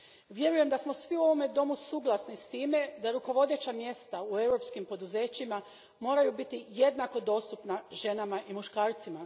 Vjerujem da smo svi u ovome domu suglasni s time da rukovodeća mjesta u europskim poduzećima moraju biti jednako dostupna ženama i muškarcima.